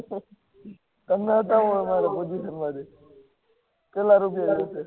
તમને તો હું